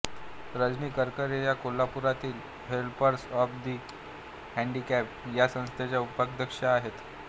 रजनी करकरे या कोल्हापुरातील Helpers of the Handicapped या संस्थेच्या उपाध्यक्षा आहेत